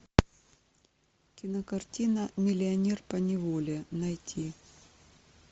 кинокартина миллионер поневоле найти